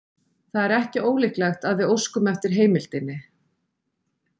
Það er ekki ólíklegt að við óskum eftir heimildinni.